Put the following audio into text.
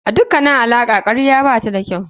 A dukkanin alaƙa karya bata da kyau.